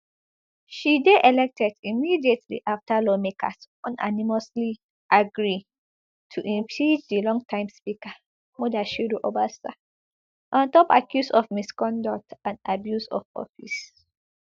she dey elected immediately afta lawmakers unanimously agree to impeach di longterm speaker mudashiru obasa on top accuse of misconduct and abuse of office